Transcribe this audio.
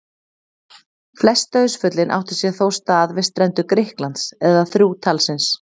Flest dauðsföllin áttu sér þó stað við strendur Grikklands, eða þrjú talsins.